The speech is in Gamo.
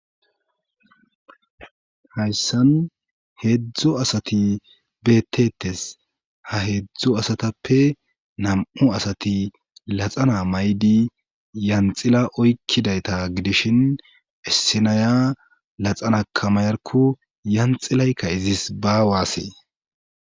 Hayssan heedzdzo asati beettetes ha heedzdzo asatappe nam7u asati laxana may7di yanxila oykkidayta gidishin issinaya laxana kamayarko yanxilaykka izis baawaasee.